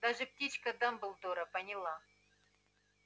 даже птичка дамблдора поняла